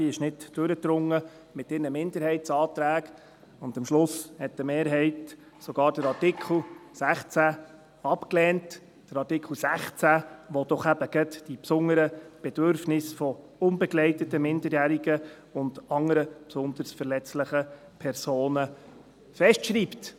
Die linke Ratshälfte drang mit ihren Minderheitsanträgen nicht durch, und am Schluss lehnte eine Mehrheit den Artikel 16 sogar ab – Artikel 16, der eben gerade die besonderen Bedürfnisse von unbegleiteten Minderjährigen und anderen besonders verletzlichen Personen festschreibt.